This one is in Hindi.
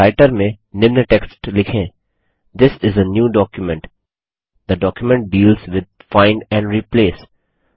राइटर में निम्न टेक्स्ट लिखें थिस इस आ न्यू documentथे document deals with find and replace